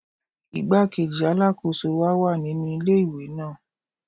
Igbá-kejì Alákóso wa wà nínú ilé ìwé náà.